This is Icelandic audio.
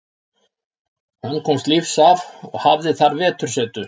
Hann komst lífs af og hafði þar vetursetu.